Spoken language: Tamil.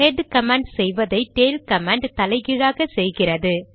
ஹெட் கமாண்ட் செய்வதை டெய்ல் கமாண்ட் தலைகீழாக செய்கிறது